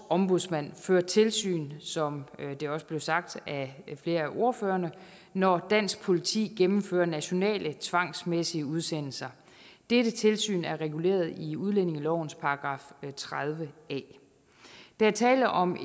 ombudsmanden fører tilsyn som det også blev sagt af flere af ordførerne når dansk politi gennemfører nationale tvangsmæssige udsendelser dette tilsyn er reguleret i udlændingelovens § tredive a der er tale om